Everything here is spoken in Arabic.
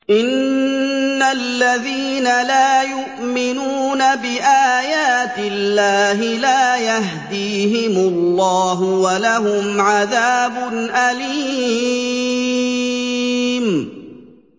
إِنَّ الَّذِينَ لَا يُؤْمِنُونَ بِآيَاتِ اللَّهِ لَا يَهْدِيهِمُ اللَّهُ وَلَهُمْ عَذَابٌ أَلِيمٌ